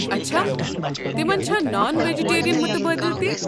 اچھا، تمن چھا نان۔ ویجٹیرین مٖتبٲدِل تہِ؟